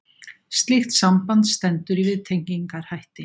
Slíkt samband stendur í viðtengingarhætti.